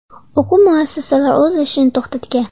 O‘quv muassasalari o‘z ishini to‘xtatgan.